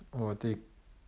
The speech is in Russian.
вот и